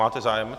Máte zájem?